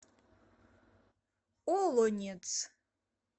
олонец